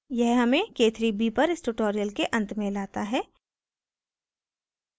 यह हमें k3b पर इस tutorial के अंत में लाता है